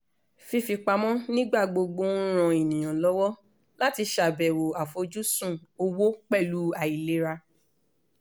fífipamọ́ nígbà gbogbo ń ràn ènìyàn lọ́wọ́ láti ṣàbẹwò àfojúsùn owó pẹ̀lú àìlera